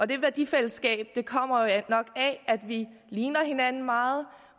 det værdifællesskab kommer jo nok af at vi ligner hinanden meget